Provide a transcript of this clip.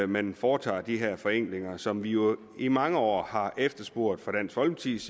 man foretager de her forenklinger som vi jo i mange år har efterspurgt fra dansk folkepartis